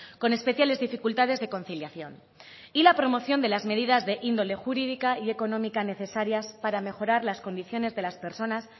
con especiales dificultades de conciliación y la promoción de las medidas e índole jurídica y económica necesarias para mejorar las condiciones de las personas